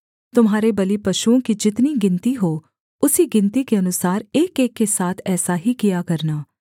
तुम्हारे बलिपशुओं की जितनी गिनती हो उसी गिनती के अनुसार एकएक के साथ ऐसा ही किया करना